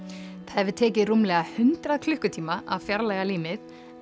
hefur tekið rúmlega hundrað klukkutíma að fjarlægja límið